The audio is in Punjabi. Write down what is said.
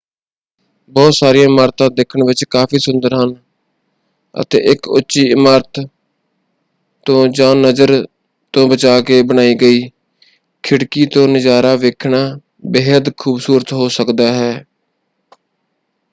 ਬਹੁਤ ਸਾਰੀਆਂ ਇਮਾਰਤਾਂ ਦੇਖਣ ਵਿੱਚ ਕਾਫ਼ੀ ਸੁੰਦਰ ਹਨ ਅਤੇ ਇਕ ਉੱਚੀ ਇਮਾਰਤ ਤੋਂ ਜਾਂ ਨਜ਼ਰ ਤੋਂ ਬਚਾ ਕੇ ਬਣਾਈ ਗਈ ਖਿੜਕੀ ਤੋਂ ਨਜ਼ਾਰਾ ਵੇਖਣਾ ਬੇਹੱਦ ਖੂਬਸੂਰਤ ਹੋ ਸਕਦਾ ਹੈ।